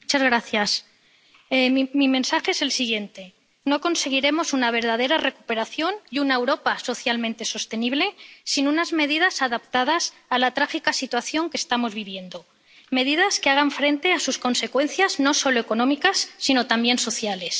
Señora presidenta, mi mensaje es el siguiente no conseguiremos una verdadera recuperación y una Europa socialmente sostenible sin unas medidas adaptadas a la trágica situación que estamos viviendo que hagan frente a sus consecuencias no solo económicas, sino también sociales.